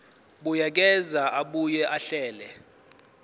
buyekeza abuye ahlele